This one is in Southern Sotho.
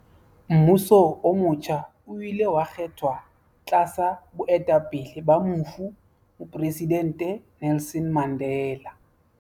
Mmuso o motjha o ile wa kgethwa tlasa boetapele ba mofu Mopresidente Nelson Mandela.